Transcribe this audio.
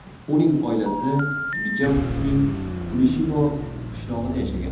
Uning oilasi Gjatskning Klushino qishlog‘ida yashagan.